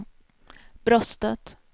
bröstet